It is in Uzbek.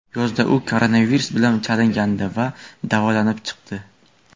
Yozda u koronavirus bilan kasallandi va davolanib chiqdi.